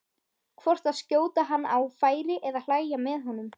hvort að skjóta hann á færi eða hlæja með honum.